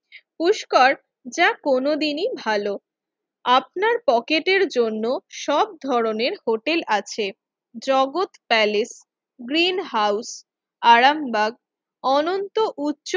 পুষ্কর যা কোনদিনই ভালো আপনার পকেটের জন্য সব ধরনের হোটেল আছে Jagat palace, green house, Arambagh Ananta উচ্চ